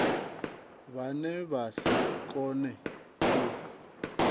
vhane vha si kone u